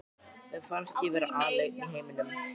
Mér fannst ég vera alein í heiminum.